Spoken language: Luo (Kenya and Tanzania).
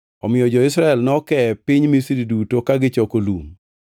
Omiyo jo-Israel nokee e piny Misri duto ka gichoko lum.